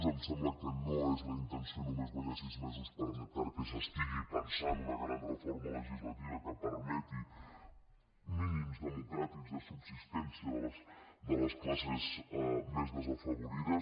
em sembla que no és la intenció només guanyar sis mesos perquè s’estigui pensant una gran reforma legislativa que permeti mínims democràtics de subsistència de les classes més desafavorides